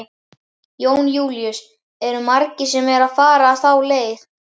Jón Júlíus: Eru margir sem eru að fara þá leið?